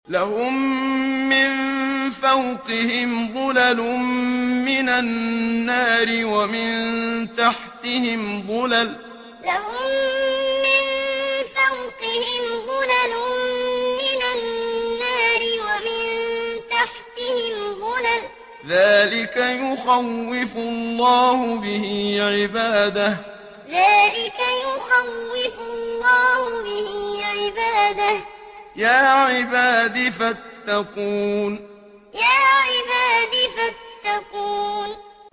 لَهُم مِّن فَوْقِهِمْ ظُلَلٌ مِّنَ النَّارِ وَمِن تَحْتِهِمْ ظُلَلٌ ۚ ذَٰلِكَ يُخَوِّفُ اللَّهُ بِهِ عِبَادَهُ ۚ يَا عِبَادِ فَاتَّقُونِ لَهُم مِّن فَوْقِهِمْ ظُلَلٌ مِّنَ النَّارِ وَمِن تَحْتِهِمْ ظُلَلٌ ۚ ذَٰلِكَ يُخَوِّفُ اللَّهُ بِهِ عِبَادَهُ ۚ يَا عِبَادِ فَاتَّقُونِ